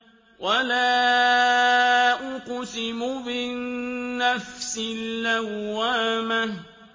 وَلَا أُقْسِمُ بِالنَّفْسِ اللَّوَّامَةِ